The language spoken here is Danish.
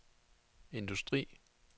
industri